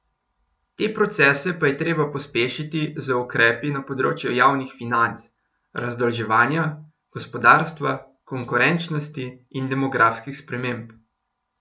Te procese pa je treba pospešiti z ukrepi na področju javnih financ, razdolževanja gospodarstva, konkurenčnosti in demografskih sprememb.